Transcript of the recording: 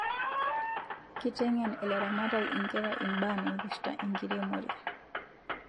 Kitengen ilaramatak inkera ibaa naipirta enkiremore